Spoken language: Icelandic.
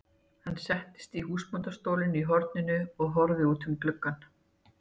Hann settist í húsbóndastólinn í horninu og horfði út um gluggann.